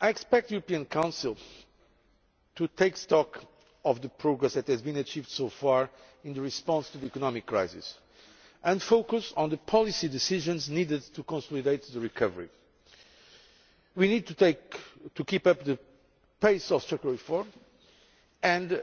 I expect the European Council to take stock of the progress that has been achieved so far in the response to the economic crisis and focus on the policy decisions needed to consolidate the recovery. We need to keep up the pace of structural reform and